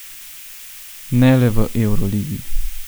Ne le v evroligi.